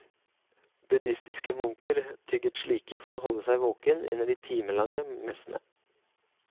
Buddhistiske munker tygget slike for å holde seg våkne under de timelange messene.